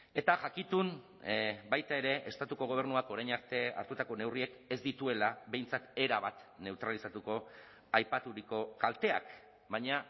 eta jakitun baita ere estatuko gobernuak orain arte hartutako neurriek ez dituela behintzat erabat neutralizatuko aipaturiko kalteak baina